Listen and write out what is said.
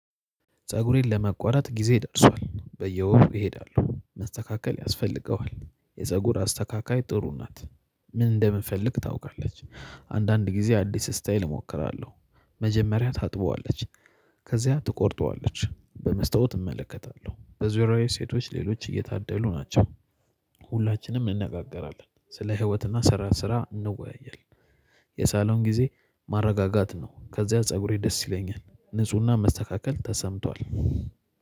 ፀጉሬን ለመቆረጥ ጊዜ ደርሷል በየወሩ ይሄዳሉ መስተካከል ያስፈልገዋል የፀጉር አስተካካይ ጥሩ ናት። ምን እንደምንፈልግ ታውቃለች። አንዳንድ ጊዜ አዲስ ስታይል እሞክራለሁ። መጀመሪያ ታጥበዋለች። ከዚያ ትቆርጠዋለች በመስተውት እመለከታለሁ በዙሪያዬ ሴቶች ሌሎች እየታደሉ ናቸው። ሁላችንም እንነጋገራለን ስለ ህይወትና ስራ ስራ እንወያያለን። የሳሎን ጊዜ ማረጋጋት ነው። ከዚያ ፀጉሬ ደስ ይለኛል ንፁህና መስተካከል ተሰምቷል።